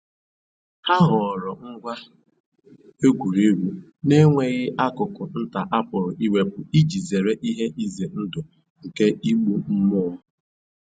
Ha họọrọ ngwa egwuregwu na-enweghị akụkụ nta a pụrụ iwepu iji zere ihe ize ndụ nke igbu mmụọ